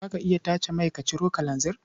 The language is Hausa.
Za ka iya tace mai ka ciro kalanzir?